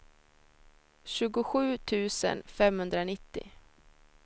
tjugosju tusen femhundranittio